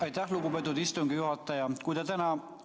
Aitäh, lugupeetud istungi juhataja!